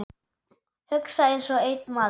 Hugsa einsog einn maður.